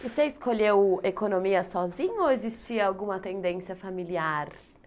Você escolheu economia sozinho ou existia alguma tendência familiar?